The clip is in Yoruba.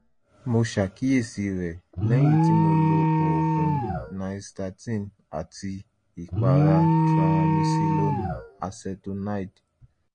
mo ṣàkíyèsí rẹ̀ lẹ́yìn tí mo lo oògùn nystatin àti ìpara triamcinolone acetonide